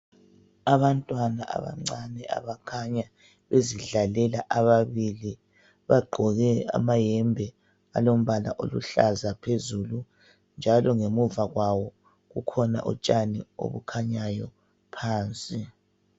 Abantwana abancane abakhanya bezidlalela, ababili bagqoke amayembe alombala oluhlaza phezulu njalo ngemuva kwawo kukhona utshani obukhanyayo phansi.